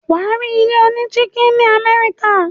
wà á rí ilé onídígí ní Amẹ́ríkà.